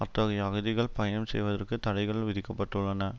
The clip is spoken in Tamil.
அத்தகைய அகதிகள் பயணம் செய்வதற்கு தடைகள் விதிக்க பட்டுள்ளன